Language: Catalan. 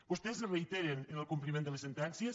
vostès es reiteren en el compliment de les sentències